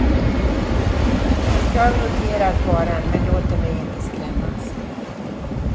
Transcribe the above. Jag noterar faran men låter mig inte skrämmas.